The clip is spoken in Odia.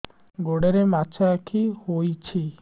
ଗୋଡ଼ରେ ମାଛଆଖି ହୋଇଛି